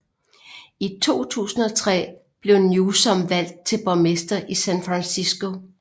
I 2003 blev Newsom valgt til borgmester i San Francisco